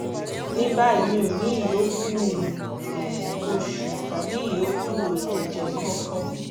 ní báyìí mi ò ní ìyókù um oṣù tàbí ìyókù ẹ̀jẹ̀ kankan